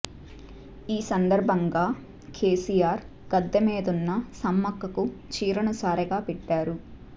ఈ సందర్భంగా కేసీఆర్ గద్దె మీదున్న సమ్మక్కకు చీరెను సారెగా పెట్టారు